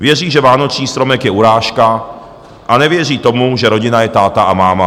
Věří, že vánoční stromek je urážka, a nevěří tomu, že rodina je táta a máma.